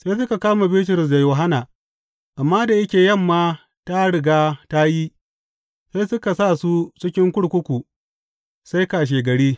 Sai suka kama Bitrus da Yohanna, amma da yake yamma ta riga ta yi sai suka sa su cikin kurkuku sai kashegari.